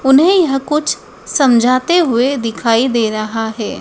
उन्हें यह कुछ समझाते हुए दिखाई दे रहा है।